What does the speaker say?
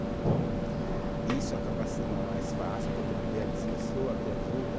Então, isso acaba sendo mais fácil, porque a maioria das pessoa que ajuda